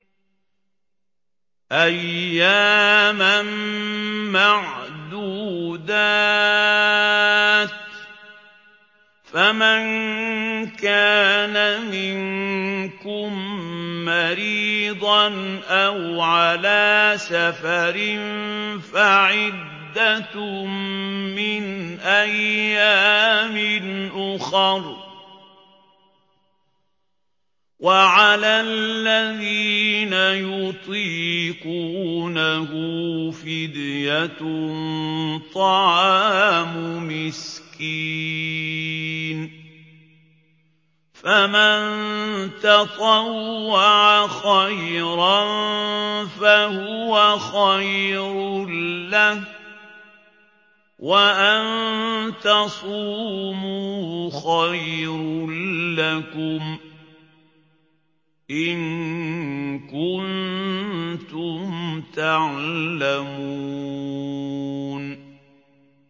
أَيَّامًا مَّعْدُودَاتٍ ۚ فَمَن كَانَ مِنكُم مَّرِيضًا أَوْ عَلَىٰ سَفَرٍ فَعِدَّةٌ مِّنْ أَيَّامٍ أُخَرَ ۚ وَعَلَى الَّذِينَ يُطِيقُونَهُ فِدْيَةٌ طَعَامُ مِسْكِينٍ ۖ فَمَن تَطَوَّعَ خَيْرًا فَهُوَ خَيْرٌ لَّهُ ۚ وَأَن تَصُومُوا خَيْرٌ لَّكُمْ ۖ إِن كُنتُمْ تَعْلَمُونَ